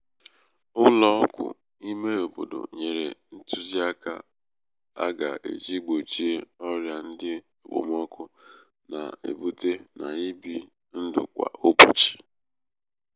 ụlọ ọgwụ ímé obodo nyere ntuziaka um aga-eji gbochie ọrịa ndị okpomọkụ na-ebute n' ibi ndụ kwa ụbọchị.